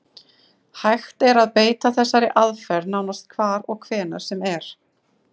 Hægt er að beita þessari aðferð nánast hvar og hvenær sem er.